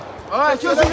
Ay, gözləmə,